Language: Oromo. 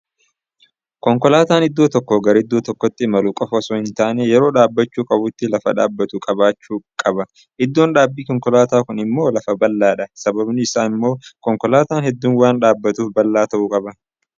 Konkolaataan iddoo tokkoo gara iddoo tokkootti imaluu qofa osoo hin taane, yeroo dhaabbachuu qabutti lafa dhaabbatu qabaachuu qaba. Iddoon dhaabii Konkolaataa kun immoo lafa bal'aadha. Sababni isaa Immoo konkolaataan hedduun waan dhaabatuuf, bal'aa ta'uu qaba.